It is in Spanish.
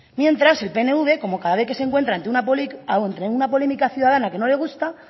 mientras el pnv como cada vez que se encuentra ante una polémica ciudadana que no le gusta